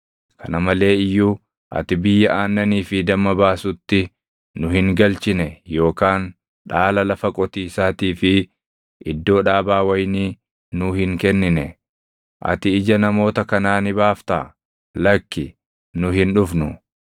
Kana malee iyyuu ati biyya aannanii fi damma baasutti nu hin galchine yookaan dhaala lafa qotiisaatii fi iddoo dhaabaa wayinii nuu hin kennine. Ati ija namoota kanaa ni baaftaa? Lakkii, nu hin dhufnu!”